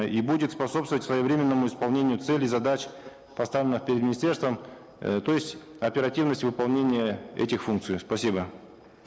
э и будет способствовать своевременному исполнению целей задач поставленных перед министерством э то есть оперативность выполнения этих функций спасибо